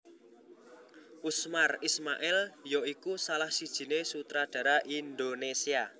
Usmar Ismail ya iku salah sijiné sutradara Indonésia